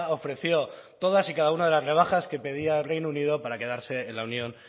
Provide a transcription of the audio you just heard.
ofreció todas y cada una de las rebajas que pedía el reino unido para quedarse en la unión